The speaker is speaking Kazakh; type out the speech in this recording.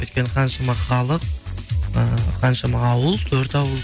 өйткені қаншама халық ыыы қаншама ауыл төрт ауыл